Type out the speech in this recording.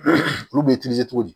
Olu bɛ cogo di